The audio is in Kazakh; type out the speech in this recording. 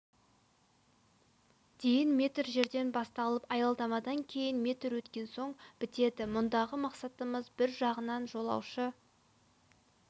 дейін метр жерден басталып аялдамадан кейін метр өткен соң бітеді мұндағы мақсатымыз бір жағынан жолаушы